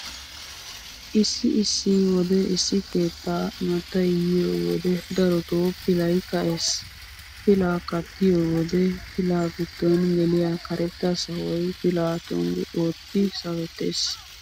Issi issi wode issi keettaa imattay yiyo wode daroto pilay ka'ees. Pilaa kattiyo wode pilaa giddon geliya karetta sawoy pilaa tonggu ootti sawettees.